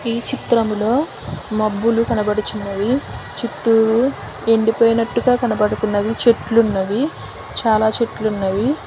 ఈ చిత్రములో మబ్బులు కనబడుచున్నవి చుట్టూరు ఎండిపోయినట్టుగా కనబడుతున్నవి చెట్లున్నవి చాలా చెట్లున్నవి.